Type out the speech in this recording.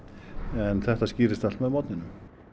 en þetta skýrist allt með morgninum